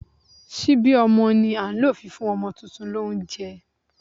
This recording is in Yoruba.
Síbí ọmọ ni a ń lò fi fún ọmọ tuntun lóunjẹ